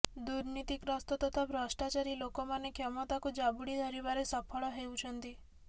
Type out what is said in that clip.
ଦୂର୍ନୀତିଗ୍ରସ୍ତ ତଥା ଭ୍ରଷ୍ଟାଚାରୀ ଲୋକମାନେ କ୍ଷମତାକୁ ଜାବୁଡ଼ି ଧରିବାରେ ସଫଳ ହେଉଛନ୍ତି